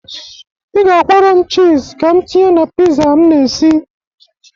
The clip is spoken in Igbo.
Ị ga-akwọrọ m chịz ka m tinye na piza m na-esi.